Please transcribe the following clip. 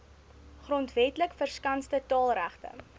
grondwetlik verskanste taalregte